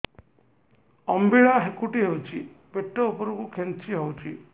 ଅମ୍ବିଳା ହେକୁଟୀ ହେଉଛି ପେଟ ଉପରକୁ ଖେଞ୍ଚି ହଉଚି